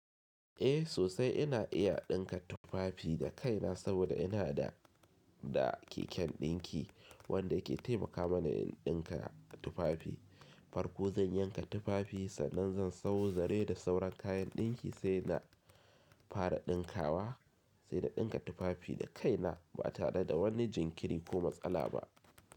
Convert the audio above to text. Eh sosai ina iya ɗinka tufafi da kaina saboda ina da keken ɗinki wanda yake taimaka mana in ɗinka tufafi. Farko zan yanka tufafi sannan zan sauzare da sauran kayan ɗinki sai na fara ɗinkawa sai na ɗinka tufafi da kaina ba tare da wani jinkiri ko matsala ba.